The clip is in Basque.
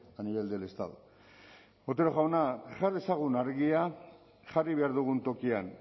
a nivel del estado otero jauna jar dezagun argia jarri behar dugun tokian